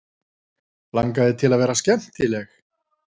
Langaði til að vera skemmtileg.